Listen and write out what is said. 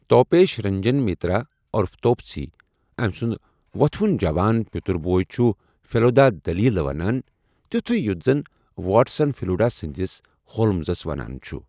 توپیش رنجن مِترا عرف توپسی ، أمہِ سُنٛد ووتھوٗن جوان پِتُر بوے چھُ فیلودا دٔلیٖہٕ ونان ، تِیوٗتھٖیہ یٗتھ زن واٹسن فیلوُڈا سندِس ہولمزس ونان چھٗ ۔